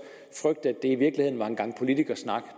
frygte at i virkeligheden var en gang politikersnak